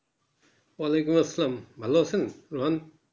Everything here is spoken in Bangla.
য়াআলাইকুম আসসালাম ভালো আছেন ?